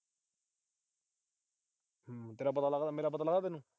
ਤੇਰਾ ਪਤਾ ਲੱਗਦਾ, ਮੇਰਾ ਪਤਾ ਲੱਗਦਾ ਤੈਨੂੰ।